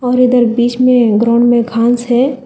और उधर बीच मे ग्राउंड में घास है।